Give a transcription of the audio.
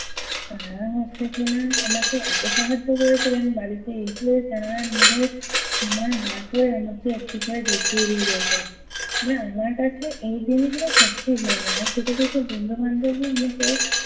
তারা হচ্ছে কি-না আমাকে এত সাহায্য করেছিলেন বাড়িতে এসে তারা নিজেদের সময় বার করে আমাকে একটু করে দেখিয়ে দিয়ে যেতো। আমার কাছে এই জিনিসগুলো সত্যিই কিছু কিছু বন্ধুবান্ধবী এমনিতে